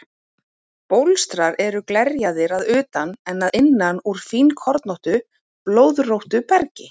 Bólstrar eru glerjaðir að utan en að innan úr fínkornóttu, blöðróttu bergi.